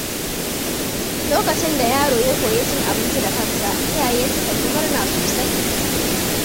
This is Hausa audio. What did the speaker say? Lokacin da yaro ya koyi cin abinci da kansa, iyaye sukan yi murna sosai.